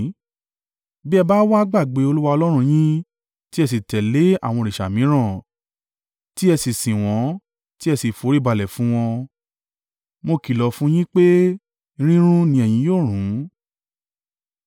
Bí ẹ bá wá gbàgbé Olúwa Ọlọ́run yín, tí ẹ sì tẹ̀lé àwọn òrìṣà mìíràn, tí ẹ sì sìn wọ́n, tí ẹ sì foríbalẹ̀ fún wọn, Mo kìlọ̀ fún un yín pé rírun ni ẹ̀yin yóò run.